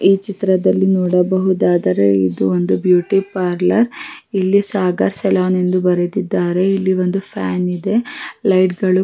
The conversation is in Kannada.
ಕೂಡ ಇವೆ ಇಲ್ಲಿ ಕಪ್ಪು ಬಣ್ಣದ ಕುರ್ಚಿಗಳು ಇಟ್ಟಿದ್ದಾರೆ ಇಲ್ಲಿ ತುಂಬ ತರದ ಡಬ್ಬಗಳು--